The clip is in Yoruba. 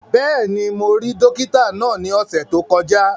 Bẹ́ẹ̀ni, mo rí dókítà náà ní ọ̀sẹ̀ tó kọjá